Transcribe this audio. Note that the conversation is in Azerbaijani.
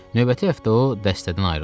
Növbəti həftə o dəstədən ayrıldı.